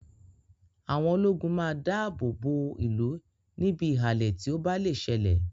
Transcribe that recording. Àwọn ológun máa da àbọ̀ bọ̀ ó ìlú níbi ìhàlẹ̀ tí ó bá lè ṣe lè